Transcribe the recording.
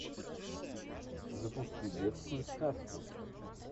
запусти детскую сказку